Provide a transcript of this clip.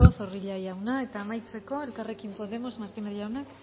eskerrik asko zorrilla jauna eta amaitzeko elkarrekin podemos martínez jaunak